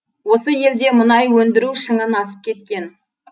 осы елде мұнай өндіру шыңын асып кеткен